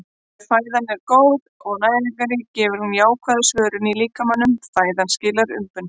Ef fæðan er góð og næringarrík gefur hún jákvæða svörun í líkamanum- fæðan skilar umbun.